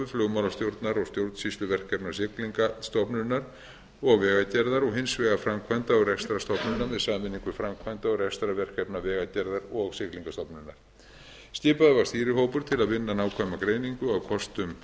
flugmálastjórnar og stjórnsýsluverkefna siglingastofnunar og vegagerðarinnar og hins vegar framkvæmda og rekstrarstofnunar með sameiningu framkvæmda og rekstrarverkefna vegagerðar og siglingastofnunar skipaður var stýrihópur til að vinna nákvæma greiningu á kostum